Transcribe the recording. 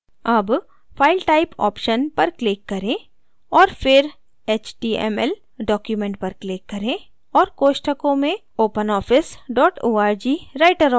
अब file type option पर click करें और फिर html document पर click करें और कोष्ठकों में openoffice dot org writer option